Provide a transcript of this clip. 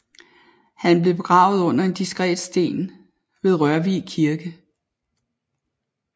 Han blev begravet under en diskret sten ved Rørvig Kirke